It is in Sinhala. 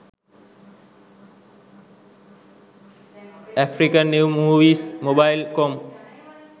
african new movies mobile com